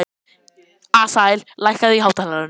Asael, lækkaðu í hátalaranum.